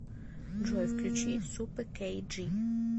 джой включи супэ кэй джи